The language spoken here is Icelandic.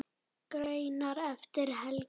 Greinar eftir Helga